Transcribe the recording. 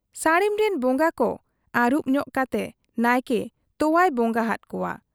ᱥᱟᱹᱲᱤᱢᱨᱤᱱ ᱵᱚᱝᱜᱟ ᱠᱚ ᱟᱹᱨᱩᱵᱽ ᱧᱚᱜ ᱠᱟᱛᱮ ᱱᱟᱭᱠᱮ ᱛᱚᱣᱟᱭ ᱵᱚᱝᱜᱟ ᱟᱫ ᱠᱚᱣᱟ ᱾